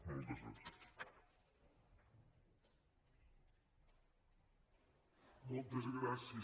moltes gràcies